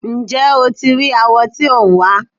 Ǹjẹ́ o ti rí awọ tí ò ń wá?